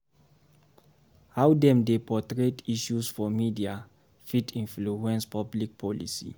How dem dey portray issues for media fit influence public policy.